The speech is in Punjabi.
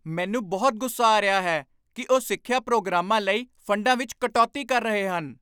ਮੈਨੂੰ ਬਹੁਤ ਗੁੱਸਾ ਆ ਰਿਹਾ ਹੈ ਕਿ ਉਹ ਸਿੱਖਿਆ ਪ੍ਰੋਗਰਾਮਾਂ ਲਈ ਫੰਡਾਂ ਵਿੱਚ ਕਟੌਤੀ ਕਰ ਰਹੇ ਹਨ।